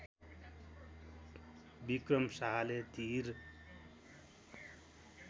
विक्रम शाहले धीर